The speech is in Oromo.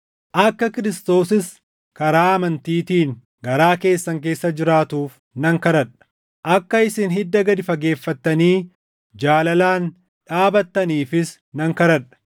akka Kiristoosis karaa amantiitiin garaa keessan keessa jiraatuuf nan kadhadha. Akka isin hidda gad fageeffattanii jaalalaan dhaabattaniifis nan kadhadha;